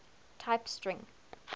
type string